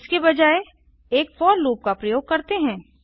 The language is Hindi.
इसके बजाय एक फोर लूप का प्रयोग करते हैं